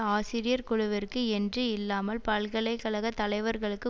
ஆசிரியர் குழுவிற்கு என்று இல்லாமல் பல்கலை கழக தலைவர்களுக்கு